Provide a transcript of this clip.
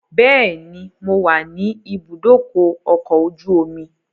Bẹ́ẹ̀ni, mo wà ni ìbúdókọ̀ ọkọ̀ ojú omi